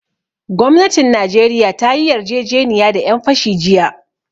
Gwamnatin najeriya ta yi yarjejeniya da ƴan fashi jiya